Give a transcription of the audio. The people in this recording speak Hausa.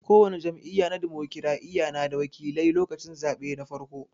Ko wani jam'iyya na dimokiraɗiya na da wakilai lokacin zaɓe na farko.